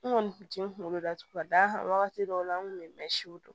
N kɔni kun tɛ n kunkolo datugu ka d'a kan wagati dɔw la an kun bɛ mɛ siw dɔn